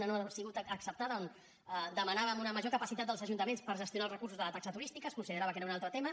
una no ha sigut acceptada on demanàvem una major capacitat dels ajuntaments per gestionar els recursos de la taxa turística es considerava que era un altre tema